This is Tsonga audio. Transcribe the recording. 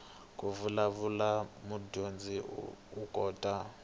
ku vulavula mudyondzi u kota